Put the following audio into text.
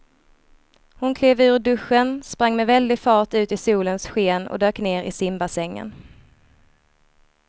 Hon klev ur duschen, sprang med väldig fart ut i solens sken och dök ner i simbassängen.